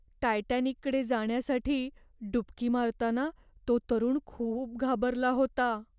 टायटॅनिककडे जाण्यासाठी डुबकी मारताना तो तरुण खूप घाबरला होता.